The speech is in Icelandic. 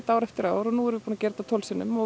ár eftir ár og nú erum við búin að gera þetta tólf sinnum og